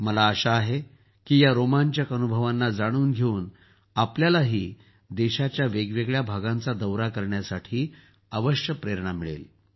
मला आशा आहे की या रोमांचक अनुभवांना जाणून घेऊन आपल्यालाही देशाच्या वेगवेगळ्या भागांचा दौरा करण्यासाठी अवश्य प्रेरणा मिळेल